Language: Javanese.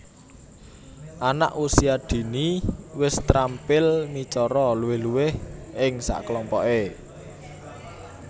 Anak Usia Dini wis terampil micara luwih luwih ing sakelompoke